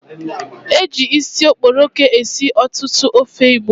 Eji isi okporoko esi ọtụtụ ofe Igbo